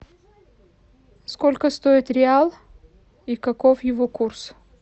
сколько стоит реал и каков его курс